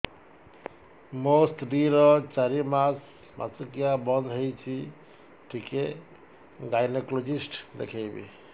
ମୋ ସ୍ତ୍ରୀ ର ଚାରି ମାସ ମାସିକିଆ ବନ୍ଦ ହେଇଛି ଟିକେ ଗାଇନେକୋଲୋଜିଷ୍ଟ ଦେଖେଇବି